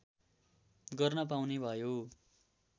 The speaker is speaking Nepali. गर्न पाउने भयो